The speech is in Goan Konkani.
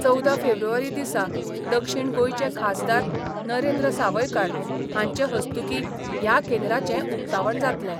चवदा फेब्रुवारी दिसा दक्षीण गोंयचे खासदार नरेंद्र सावयकार हांचे हस्तुकीं ह्या केंद्राचें उकतावण जातलें.